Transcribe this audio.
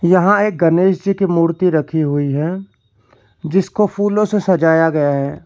यहां एक गणेश जी की मूर्ति रखी हुई है जिसको फूलों से सजाया गया है।